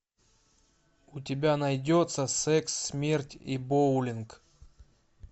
у тебя найдется секс смерть и боулинг